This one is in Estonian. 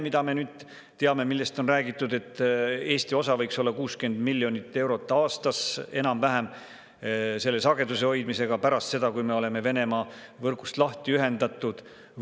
Me teame nüüd, sellest on räägitud, et Eesti osa võiks olla enam-vähem 60 miljonit eurot aastas selle sageduse hoidmisega pärast seda, kui me oleme Venemaa võrgust lahti ühendatud.